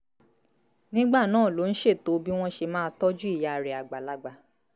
nígbà náà ló ń ṣètò bí wọ́n ṣe máa tọ́jú ìyá rẹ̀ àgbàlagbà